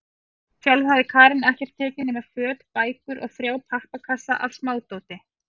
Sjálf hafði Karen ekkert tekið nema föt, bækur og þrjá pappakassa af smádóti.